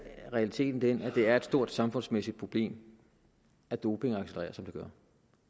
realiteten den at det er et stort samfundsmæssigt problem at doping accelererer som det gør